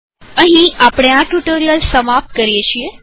હવે આપણે આ ટ્યુ્ટોરીઅલ સમાપ્ત કરીએ છીએ